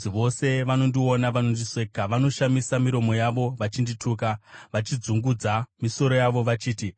Vose vanondiona vanondiseka; vanoshamisa miromo yavo vachindituka, vachidzungudza misoro yavo vachiti,